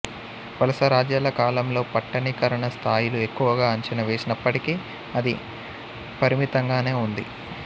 వలసరాజ్యాల కాలంలో పట్టణీకరణ స్థాయిలు ఎక్కువగా అంచనా వేసినప్పటికీ అది పరిమితంగానే ఉంది